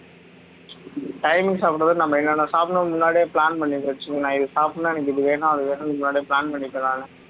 timing சாப்பிடுறது நம்ம என்னன்ன சாப்பிடுவோம் முன்னாடியே plan பண்ணி வச்சி நான் இது சாப்பிடணும்னா எனக்கு இது வேணும் அது வேணும்னு முன்னாடியே plan பண்ணிகக்கலாம்ல